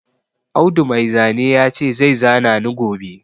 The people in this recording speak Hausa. Audu Mai zane ya ce zai zana ni gobe